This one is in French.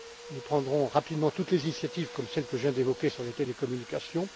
terme. Nous prendrons rapidement toutes les initiatives, comme celle que je viens d'évoquer sur les télécommunications,